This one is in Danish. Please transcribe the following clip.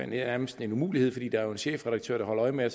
nærmest en umulighed fordi der er en chefredaktør der holder øje med at